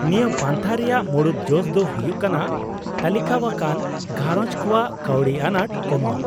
-ᱱᱤᱭᱟᱹ ᱯᱟᱱᱛᱷᱟ ᱨᱮᱭᱟᱜ ᱢᱩᱲᱩᱫ ᱡᱚᱥ ᱫᱚ ᱦᱩᱭᱩᱜ ᱠᱟᱱᱟ ᱛᱟᱹᱞᱤᱠᱟᱣᱟᱠᱟᱱ ᱜᱷᱟᱸᱨᱚᱡᱽ ᱠᱚᱣᱟᱜ ᱠᱟᱹᱣᱰᱤ ᱟᱸᱱᱟᱴ ᱠᱚᱢᱟᱣ ᱾